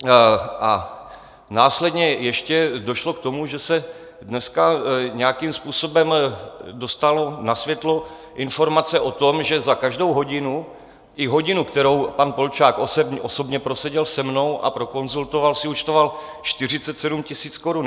A následně ještě došlo k tomu, že se dneska nějakým způsobem dostala na světlo informace o tom, že za každou hodinu, i hodinu, kterou pan Polčák osobně proseděl se mnou a prokonzultoval, si účtoval 47 000 korun.